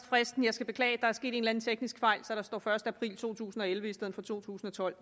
fristen jeg skal beklage at der er sket en teknisk fejl så der står den første april to tusind og elleve i stedet for to tusind og tolv